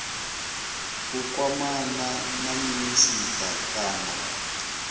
u kwamana na minisita kana